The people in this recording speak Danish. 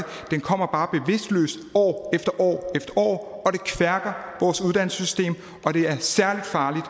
den kommer bare bevidstløst år efter år efter år og det kværker vores uddannelsessystem og det er særligt farligt